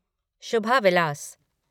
Shubha Vilas